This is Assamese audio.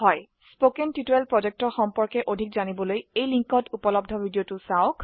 spoken টিউটৰিয়েল projectৰ বিষয়ে অধিক জানিবলৈ তলৰ সংযোগত থকা ভিডিঅ চাওক